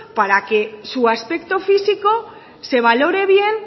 para que su aspecto físico se valore bien